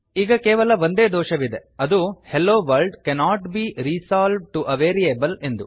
ಈಗ ಕೇವಲ ಒಂದೇ ದೋಷವಿದೆ ಅದು - hello world cannot be resolved to a variable ಎಂದು